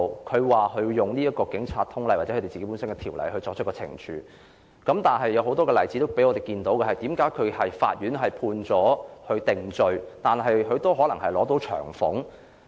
雖然當局表示會根據《警察通例》或本身的規例作出懲處，但我們從很多例子看見，當警員被法庭定罪後，仍然能夠獲得長俸。